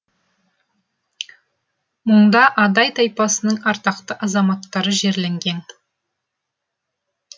мұнда адай тайпасының ардақты азаматтары жерленген